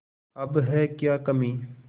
अब है क्या कमीं